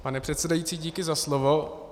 Pane předsedající, díky za slovo.